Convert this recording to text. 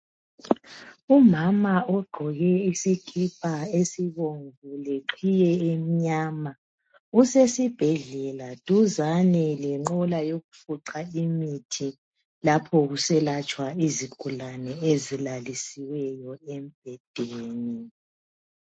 Umama ogqoke isikipa esibomvu leqhiye emnyama usesibhedlela duzane lenqola yokufuqa imithi lapho kuselatshwa izigulane ezilalisiweyo embhedeni.